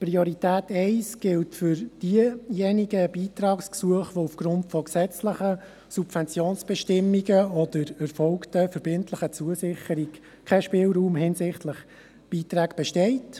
Priorität 1 gilt für jene Beitragsgesuche, bei denen aufgrund gesetzlicher Subventionsbestimmungen oder erfolgten verbindlichen Zusicherungen kein Spielraum hinsichtlich Beiträgen besteht.